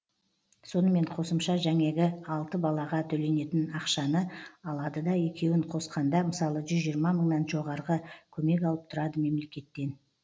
сонымен қосымша жәңегі алты балаға төленетін ақшаны алады да екеуін қосқанда мысалы жүз жиырма мыңнан жоғарғы көмек алып тұрады мемлекеттен